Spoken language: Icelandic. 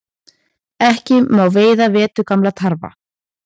Ekki má veiða veturgamla tarfa